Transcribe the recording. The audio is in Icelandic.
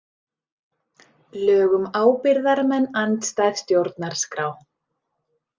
Lög um ábyrgðarmenn andstæð stjórnarskrá